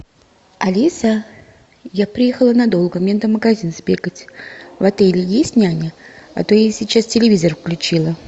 алиса я приехала надолго мне надо в магазин сбегать в отеле есть няня а то я сейчас телевизор включила